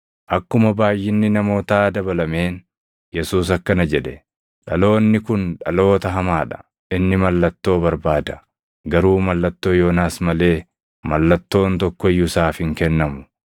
Akkuma baayʼinni namootaa dabalameen Yesuus akkana jedhe; “Dhaloonni kun dhaloota hamaa dha. Inni mallattoo barbaada; garuu mallattoo Yoonaas malee mallattoon tokko iyyuu isaaf hin kennamu.